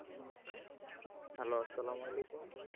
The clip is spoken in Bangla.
Hello আসসালামওয়ালিকুম।